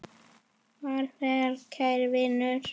Far vel, kæri vinur.